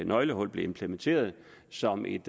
nøglehullet blev implementeret som et